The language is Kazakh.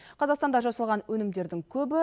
қазақстанда жасалған өнімдердің көбі